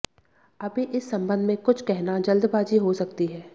अभी इस संबंध में कुछ कहना जल्दबाजी हो सकती है